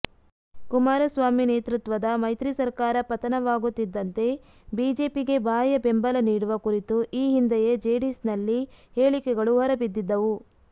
ಕುಮಾರಸ್ವಾಾಮಿ ನೇತೃತ್ವದ ಮೈತ್ರಿಿ ಸರಕಾರ ಪತನವಾಗುತ್ತಿಿದ್ದಂತೆ ಬಿಜೆಪಿಗೆ ಬಾಹ್ಯ ಬೆಂಬಲ ನೀಡುವ ಕುರಿತು ಈ ಹಿಂದೆಯೇ ಜೆಡಿಎಸ್ನಲ್ಲಿ ಹೇಳಿಕೆಗಳು ಹೊರಬಿದ್ದಿದ್ದವು